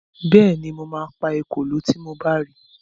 Bẹ́ẹ̀ni, mo ma pa ekòló tí mo bá ri